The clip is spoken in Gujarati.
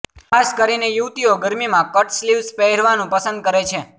ખાસ કરીને યુવતીઓ ગરમીમાં કટ સ્લીવ્સ પહેરાવનું પસંદ કરે છે